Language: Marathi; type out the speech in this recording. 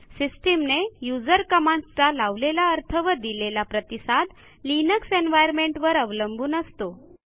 सिस्टीमने युजर कमांडस् चा लावलेला अर्थ व दिलेला प्रतिसाद लिनक्स एन्व्हायर्नमेंट वर अवलंबून असतो